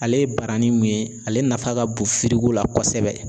Ale ye barani mun ye, ale nafa ka bon la kosɛbɛ